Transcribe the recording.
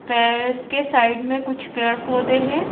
पैर के साइड में कुछ पेड़-पौधे हैं।